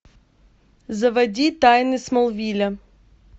заводи тайны смолвиля